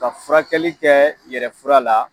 Ka furakɛli kɛ yɛrɛfura la